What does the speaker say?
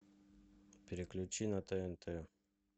переключи на тнт